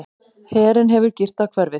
Herinn hefur girt af hverfið.